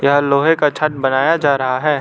यह लोहे का छत बनाया जा रहा है।